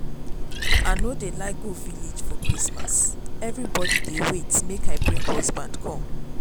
i no dey like go village again for christmas everybody dey wait make i bring husband come